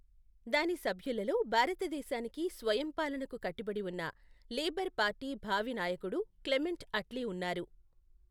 దాని సభ్యులలో భారతదేశానికి స్వయం పాలనకు కట్టుబడి ఉన్న, లేబర్ పార్టీ భావి నాయకుడు క్లెమెంట్ అట్లీ ఉన్నారు.